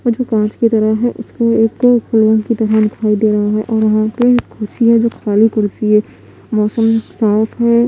कुछ कांच की तरह है उसपे एक फूल की तरह दिखाई दे रही है और एक कुर्सी है जो खाली कुर्सी है मौसम साफ है।